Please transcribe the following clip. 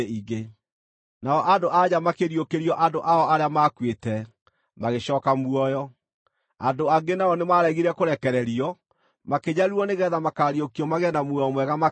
Nao andũ-a-nja makĩriũkĩrio andũ ao arĩa maakuĩte, magĩcooka muoyo. Andũ angĩ nao nĩmaregire kũrekererio, makĩnyariirwo nĩgeetha makaariũkio magĩe na muoyo mwega makĩria.